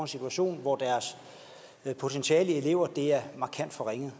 situation hvor deres potentiale til elever er markant forringet